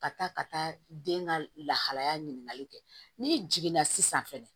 Ka taa ka taa den ka lahalaya ɲininkali kɛ n'i jiginna sisan fɛnɛ